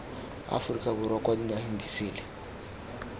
aforika borwa kwa dinageng disele